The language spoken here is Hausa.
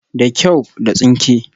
Da kyau, da tsinke